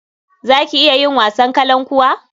Za ki iya yin wasan kalankuwa?